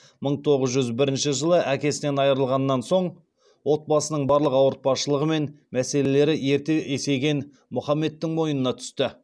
мың тоғыз жүзбірінші жылы әкесінен айырылғаннан соң отбасының барлық ауыртпашылығы мен мәселелері ерте есейген мұхаммедтің мойнына түсті